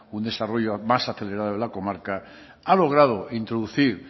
un desarrollo más acelerado de la comarca ha logrado introducir